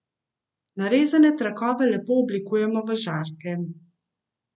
Narezane trakove lepo oblikujemo v žarke.